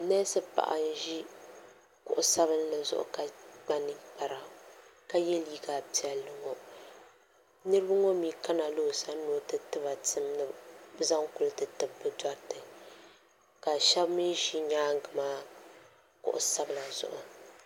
neesi paɣa n-ʒi kuɣ' sabinli zuɣu ka kpa ninkpara ka ye liiga piɛlli ŋɔ niriba ŋɔ mi kana la o sani ni o ti ti ba tim ni bɛ zaŋ kuli ti tibi bɛ dɔriti ka shɛba mi ʒi nyaaga maa kuɣ' sabila zuɣu.